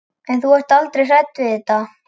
En ert þú aldrei hrædd við þetta?